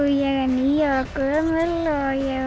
ég er níu ára gömul ég